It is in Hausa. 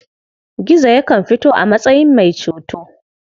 Gizo yakan fito a matsayin mai ceto.